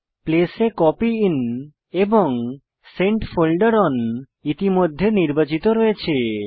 place a copy in এবং sent ফোল্ডের on ইতিমধ্যে নির্বাচিত রয়েছে